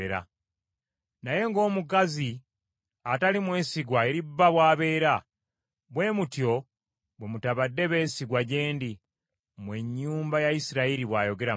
Naye ng’omukazi atali mwesigwa eri bba bw’abeera, bwe mutyo bwe mutabadde beesigwa gye ndi, mmwe ennyumba ya Isirayiri,” bw’ayogera Mukama .